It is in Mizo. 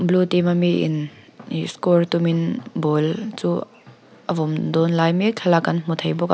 blue team ami in ihh score tum in ball chu a vawm dawn lai mek thlalak kan hmu thei bawk a.